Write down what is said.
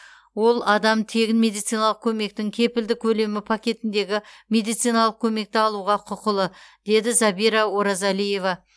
ол адам тегін медициналық көмектің кепілді көлемі пакетіндегі медициналық көмекті алуға құқылы деді забира оразалиева